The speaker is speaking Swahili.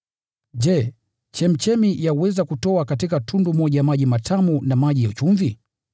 Je, chemchemi yaweza kutoa katika tundu moja maji matamu na maji ya chumvi?